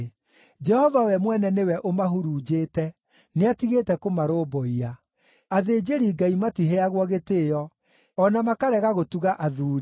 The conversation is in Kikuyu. Jehova we mwene nĩwe ũmahurunjĩte; nĩatigĩte kũmarũmbũiya. Athĩnjĩri-Ngai matiheagwo gĩtĩĩo, o na makarega gũtuga athuuri.